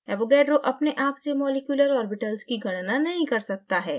avogadro अपने आप से मॉलिक्यूलर ऑर्बिटल्स की गणना नहीं कर सकता है